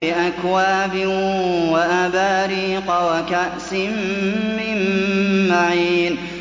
بِأَكْوَابٍ وَأَبَارِيقَ وَكَأْسٍ مِّن مَّعِينٍ